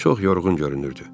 Çox yorğun görünürdü.